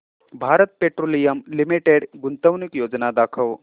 Bharat petroleum limited गुंतवणूक योजना दाखव